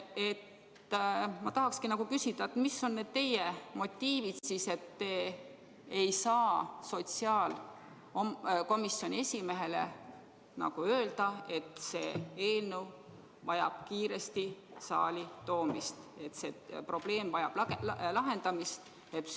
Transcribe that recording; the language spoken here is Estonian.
Aga ma tahakski küsida: mis on need teie motiivid, et te ei saa sotsiaalkomisjoni esimehele öelda, et see eelnõu vajab kiiresti saali toomist, et see probleem vajab lahendamist?